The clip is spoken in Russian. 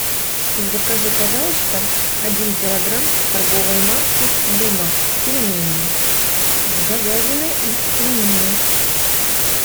закажи пожалуйста один килограмм торговой марки дымов пельмени с говядиной и свининой